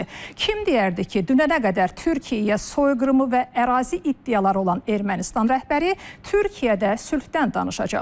Kim deyərdi ki, dünənə qədər Türkiyəyə soyqırımı və ərazi iddiaları olan Ermənistan rəhbəri Türkiyədə sülhdən danışacaq?